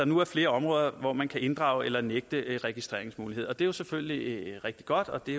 nu flere områder hvor man kan inddrage eller nægte registreringsmulighed det er jo selvfølgelig rigtig godt og det